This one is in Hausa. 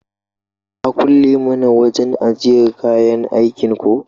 Ka kulle mana wajan ajjiyar kayan aikin ko?